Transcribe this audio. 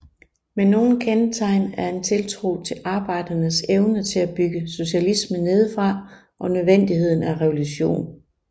Men nogle kendetegn er en tiltro til arbejdernes evne til at bygge socialismen nedefra og nødvendigheden af revolution